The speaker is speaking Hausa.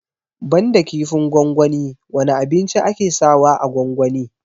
Banda kifin gwangwani wane abinci ake sa wa a gwangwani?